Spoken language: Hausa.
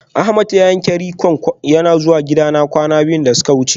Ahmed ya yanke rik'on yana zuwa gidana kwana biyu da suka wuce